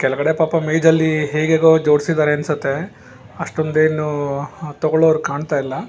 ಕೆಳಗಡೆ ಪಾಪ ಮೇಜಲ್ಲಿ ಹೇಗೇಗೋ ಜೋಡಿಸಿದ್ದಾರೆ ಅನ್ಸುತ್ತೆ ಅಷ್ಟೊಂದ್ ಏನು ತಗೊಳೋರ್ ಕಾಣ್ತಾ ಇಲ್ಲ.